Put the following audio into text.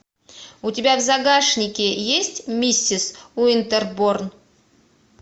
у тебя в загашнике есть миссис уинтерборн